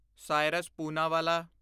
Cyrus Poonawalla